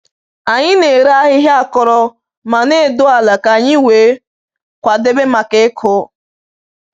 Anyị na-ere ahịhịa akọrọ ma na-edo ala ka anyị wee kwadebe maka ịkụ.